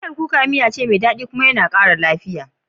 Miyar kuka miyane mai dadi kuma yana kara lafiya.